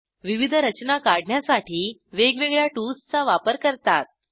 विविध रचना काढण्यासाठी वेगवेगळ्या टूल्सचा वापर करतात